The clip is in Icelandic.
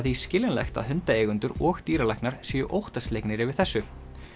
því skiljanlegt að hundaeigendur og dýralæknar séu óttaslegnir yfir þessu